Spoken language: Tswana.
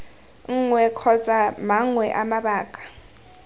nngwe kgotsa mangwe a mabaka